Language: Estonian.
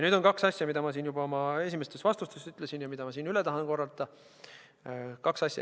Nüüd on kaks asja, mida ma juba oma esimestes vastustes ütlesin ja mida ma tahan siinkohal üle korrata.